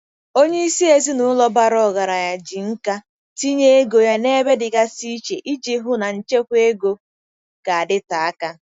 Onye isi ezinụlọ bara ọgaranya ji nkà tinye ego ya n'ebe dịgasị iche iji hụ na nchekwa ego ga-adịte aka.